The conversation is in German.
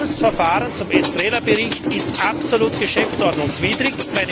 Dieses Verfahren zum Estrela Bericht ist absolut geschäftsordnungswidrig!